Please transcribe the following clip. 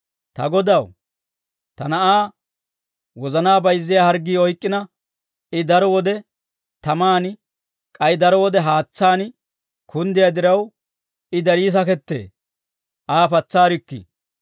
«Ta Godaw, ta na'aa wozanaa bayizziyaa harggii oyk'k'ina, I daro wode tamaan, k'ay daro wode haatsaan kunddiyaa diraw, I darii sakettee; Aa patsaarikkii.